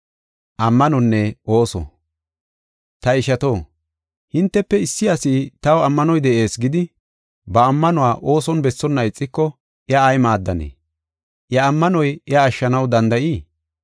Ta ishato, hintefe issi asi taw ammanoy de7ees gidi, ba ammanuwa ooson bessonna ixiko iya ay maaddanee? Iya ammanoy iya ashshanaw danda7ii?